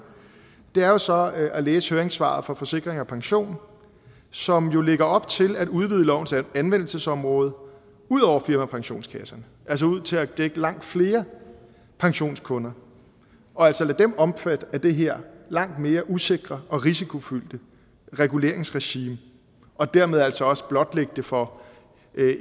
er jo så at at læse høringssvaret fra forsikring pension som jo lægger op til at udvide lovens anvendelsesområde ud over firmapensionskasserne altså ud til at dække langt flere pensionskunder og altså lade dem omfatte af det her langt mere usikre og risikofyldte reguleringsregime og dermed altså også blotlægge det for